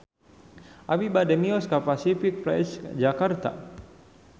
Abi bade mios ka Pasific Place Jakarta